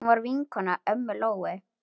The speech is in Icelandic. Hún var vinkona ömmu Lóu.